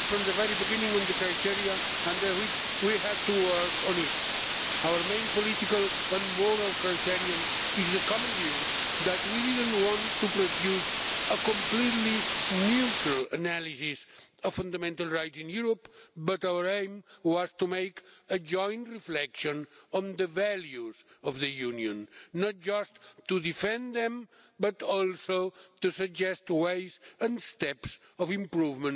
agreed from the very beginning on the criteria under which we had to work on it. Our main political and moral criterion is the common view that we didn't want to produce a completely neutral analysis of fundamental rights in Europe, but our aim was to make a joint reflection on the values of the Union, not just to defend them but also to suggest ways and steps to improve